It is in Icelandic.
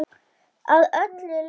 Að öllu leyti.